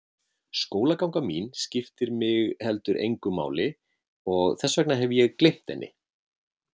Skólaganga mín skiptir mig heldur engu máli og þess vegna hef ég gleymt henni.